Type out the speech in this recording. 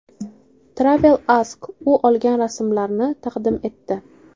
Travel Ask u olgan rasmlarni taqdim etdi.